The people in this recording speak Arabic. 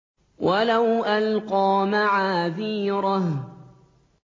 وَلَوْ أَلْقَىٰ مَعَاذِيرَهُ